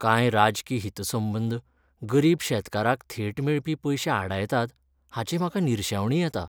कांय राजकी हितसंबंद गरीब शेतकाराक थेट मेळपी पयशे आडायतात हाची म्हाका निरशेवणी येता.